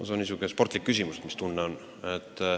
See on niisugune spordireporteri küsimus, et mis tunne on.